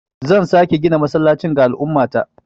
Zan sake gina masallacin ga al'ummata.